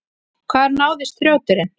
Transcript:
Hvar náðist þrjóturinn?